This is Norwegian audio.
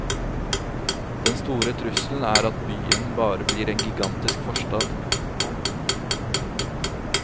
Den store trusselen er at byen bare blir en gigantisk forstad.